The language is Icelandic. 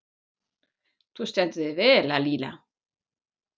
Þú stendur þig vel, Lalíla!